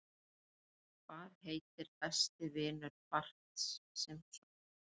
Hvað heitir besti vinur Barts Simpsons?